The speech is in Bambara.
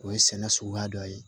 O ye sɛnɛ suguya dɔ ye